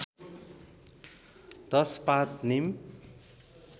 १० पात निम